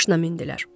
Maşına mindilər.